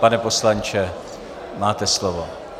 Pane poslanče, máte slovo.